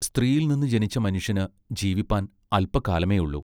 സ്ത്രീയിൽനിന്ന് ജനിച്ച മനുഷ്യന് ജീവിപ്പാൻ അല്പകാലമേ ഉള്ളൂ.